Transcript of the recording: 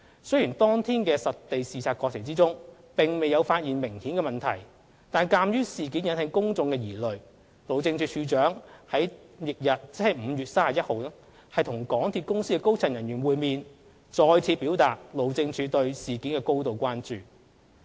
雖然當天實地視察過程中並未有發現明顯的問題，但鑒於事件引起公眾疑慮，路政署署長在翌日即5月31日與港鐵公司高層人員會面，再次表達路政署對事件的高度關注。